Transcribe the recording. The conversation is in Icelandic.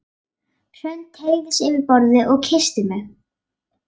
Hrönn teygði sig yfir borðið og kyssti mig.